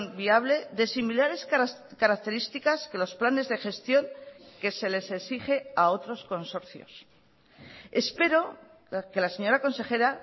viable de similares características que los planes de gestión que se les exige a otros consorcios espero que la señora consejera